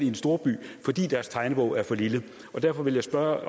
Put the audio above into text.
en storby fordi deres tegnebog er for lille derfor vil jeg